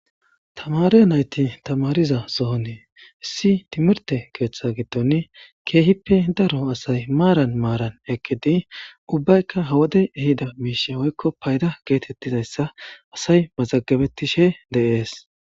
Tamare nayti tamariza sohoni issi timirte keetha giddoni Keehippe daro asayi maran maran eqidi ubbayka ha wodey ehida misha woyko fayda getetizaysa asay mazagabetishe de'esi.